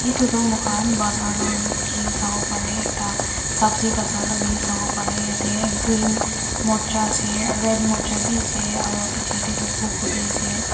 etu tu moikhan bazaar la sawo pare ekta sabji bazaar la wi sawo pare yate green morcha ase red morcha bi ase aru piche te toh phool gobi ase.